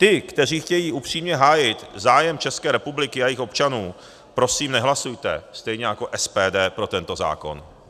Ty, kteří chtějí upřímně hájit zájem České republiky a jejích občanů, prosím, nehlasujte, stejně jako SPD, pro tento zákon.